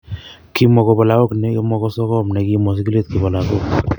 Kimwa kobo lagok nemo ko sogom ne kimwo sigilet kibo lagok.